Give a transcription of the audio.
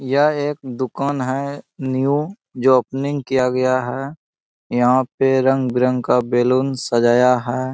यह एक दुकान है न्यू जो ओपनिंग किया गया है यहां पे रंग-बिरंग का बलून सजाया है।